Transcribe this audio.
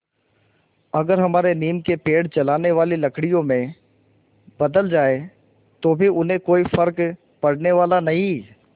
अगर हमारे नीम के पेड़ जलाने वाली लकड़ियों में बदल जाएँ तो भी उन्हें कोई फ़र्क पड़ने वाला नहीं